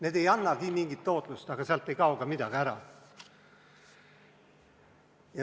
Need ei annagi mingit tootlust, aga sealt ei kao ka midagi ära.